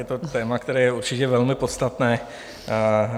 Je to téma, které je určitě velmi podstatné.